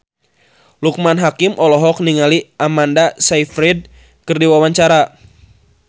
Loekman Hakim olohok ningali Amanda Sayfried keur diwawancara